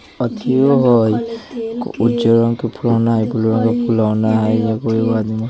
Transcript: अथीयो हेय उज्जर रंग के फुलोना हेय ब्लू रंग के फुलोना हेय एगो आदमी हेय।